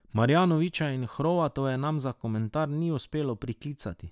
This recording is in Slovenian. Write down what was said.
Marjanovića in Hrovatove nam za komentar ni uspelo priklicati.